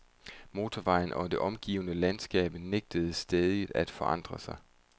Motorvejen og det omgivende landskab nægtede stædigt at forandre sig.